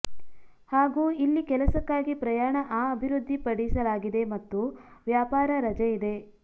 ಹಾಗೂ ಇಲ್ಲಿ ಕೆಲಸಕ್ಕಾಗಿ ಪ್ರಯಾಣ ಆ ಅಭಿವೃದ್ಧಿಪಡಿಸಲಾಗಿದೆ ಮತ್ತು ವ್ಯಾಪಾರ ರಜಾ ಇದೆ